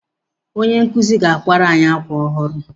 Onye nkụzi ga-akwara anyị akwa ọhụrụ.